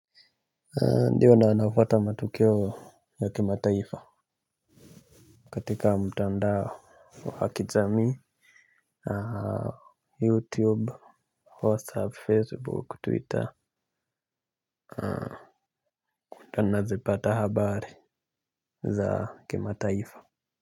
Ndiyo nafuata matokeo ya kimataifa. Katika mtandao wa kijamii YouTube, WhatsApp, Facebook, Twitter nazipata habari za kimataifa.